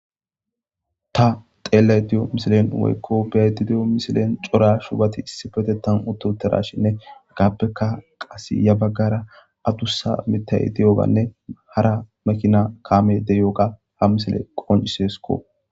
ta xeellay diyo misilen woykko bedi diyo misilen cora shubati issi fetetan ututerashinne gaappeka qas ya baggara adussa mitayi diyobanne hara makina kaame deryoga ha misile qonciseskko